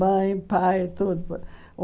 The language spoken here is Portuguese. Mãe, pai, tudo. Um